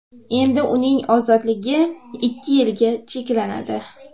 Endi uning ozodligi ikki yilga cheklanadi.